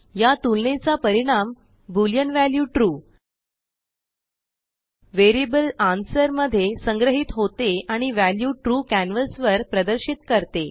या तुलनेचा परिणामboolean वॅल्यू ट्रू वेरिअबलanswerमध्ये संग्रहित होते आणिव्ह्याल्यूtrueकॅनवासवरप्रदर्शित करते